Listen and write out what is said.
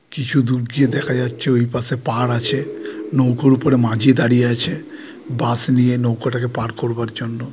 কিছু দূর দিয়ে দেখা যাচ্ছে ওই পাশে পাড় আছে নৌকার উপরে মাঝি দাঁড়িয়ে আছে বাঁশ নিয়ে নৌকাটাকে পার করবার জন্য।